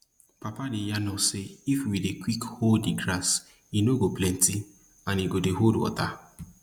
papa dey yarn us sey if we dey quick hoe di grass e no go plenty and e go dey hold water